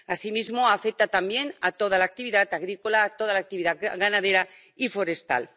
Asimismo, afecta también a toda la actividad agrícola, a toda la actividad ganadera y forestal.